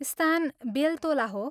स्थान बेल्तोला हो।